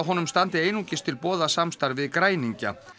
standi einungis til boða samstarf við græningja